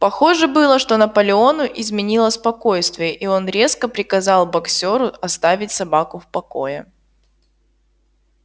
похоже было что наполеону изменило спокойствие и он резко приказал боксёру оставить собаку в покое